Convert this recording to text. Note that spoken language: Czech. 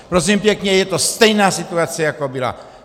Prosím pěkně, je to stejná situace, jako byla.